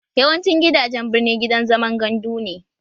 Yawancin gidajen birni gidan zaman gandu ne